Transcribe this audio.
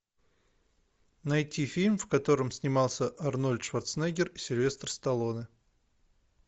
найти фильм в котором снимался арнольд шварценеггер и сильвестр сталлоне